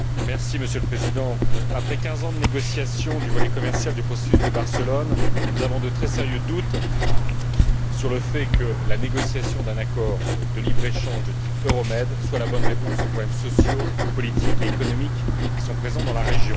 Monsieur le Président, après quinze ans de négociations du volet commercial du processus de Barcelone, nous avons de très sérieux doutes sur le fait que la négociation d'un accord de libre échange de type Euromed soit la bonne réponse aux problèmes sociaux, politiques et économiques qui sont présents dans la région.